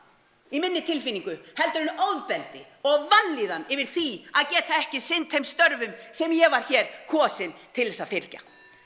í minni tilfinningu heldur en ofbeldi og vanlíðan yfir því að geta ekki sinnt þeim störfum sem ég var hér kosin til þess að fylgja